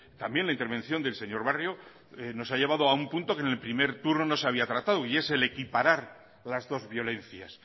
también la intervención del señor barrio nos ha llevado a un punto que en el primer turno no se había tratado y es el equiparar las dos violencias